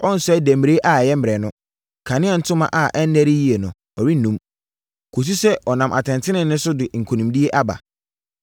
Ɔrensɛe demmire ɛyɛ mmerɛ no. Kanea ntoma a ɛnnɛre yie no, ɔrennum; kɔsi sɛ ɔnam atɛntenenee so de nkonimdie aba.